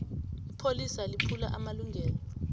ipholisa liphula amalungelo